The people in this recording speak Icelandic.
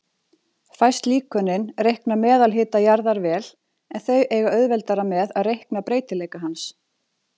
Fæst líkönin reikna meðalhita jarðar vel, en þau eiga auðveldara með að reikna breytileika hans.